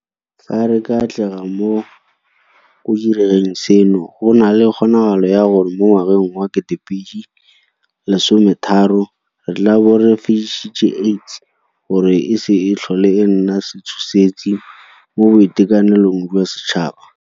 Fa re ka atlega mo go direng seno, go na le kgonagalo ya gore mo ngwageng wa 2030 re tla bo re fedisitse AIDS gore e se tlhole e nna setshosetsi mo boitekanelong jwa setšhaba.